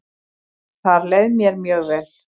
Þar leið mér mjög vel.